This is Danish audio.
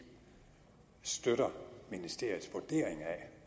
støtter ministeriets vurdering af